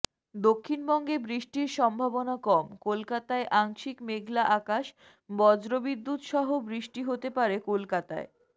দক্ষিণবঙ্গে বৃষ্টির সম্ভাবনা কম কলকাতায় আংশিক মেঘলা আকাশ বজ্রবিদ্যুৎ সহ বৃষ্টি হতে পারে কলকাতায়